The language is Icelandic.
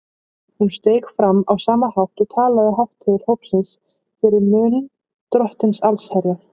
Hún steig fram á sama hátt og talaði hátt til hópsins fyrir munn Drottins allsherjar.